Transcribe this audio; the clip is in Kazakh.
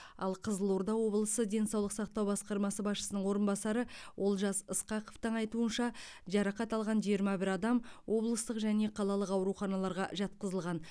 ал қызылорда облысы денсаулық сақтау басқармасы басшысының орынбасары олжас ысқақовтың айтуынша жарақат алған жиырма бір адам облыстық және қалалық ауруханаларға жатқызылған